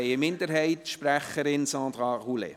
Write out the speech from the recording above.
Die Minderheitssprecherin hat das Wort.